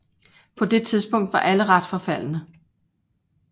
På det tidspunkt var alle ret forfaldne